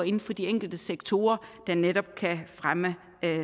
inden for de enkelte sektorer der netop kan fremme